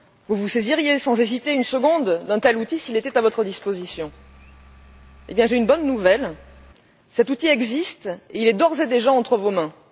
Vous vous saisiriez sans hésiter une seconde d'un tel outil s'il était à votre disposition. Eh bien j'ai une bonne nouvelle cet outil existe et il est d'ores et déjà entre vos mains.